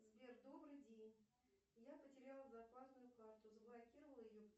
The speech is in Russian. сбер добрый день я потеряла зарплатную карту заблокировала ее